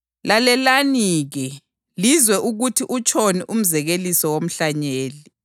Lalelani-ke lizwe ukuthi utshoni umzekeliso womhlanyeli: